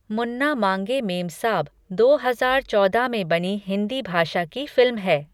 मुन्ना मांगे मेमसाब दो हजार चौदह में बनी हिन्दी भाषा की फिल्म है।